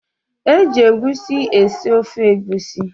Eji egusi esi ofe egusi